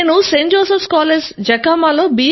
Joseph's college Jakhama autonomous లో b